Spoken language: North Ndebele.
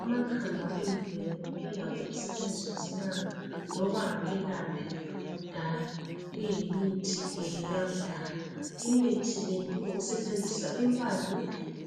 Amakhamba emvelo ebelakho ukusetshenziswa zinyanga loba ngabelaphi kudala kuyimithi yakudala imithi le bekulokusetshenziswa impande